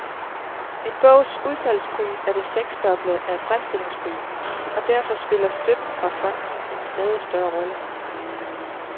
En bogs udsalgspris er det seksdobbelte af fremstillingsprisen, og derfor spiller støtten fra fonde en stadig større rolle.